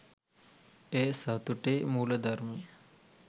එය සතුටේ මූලධර්මය